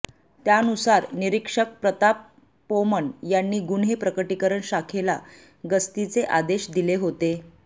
त्यानुसार निरीक्षक प्रताप पोमण यांनी गुन्हे प्रकटीकरण शाखेला गस्तीचे आदेश दिले होते